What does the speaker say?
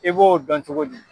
I b'o dɔn cogo di?